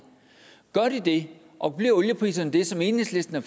det og bliver oliepriserne det som enhedslisten har